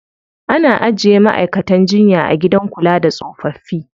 Ana ajiye ma'aikatan jinya a gidan kula da tsofaffi.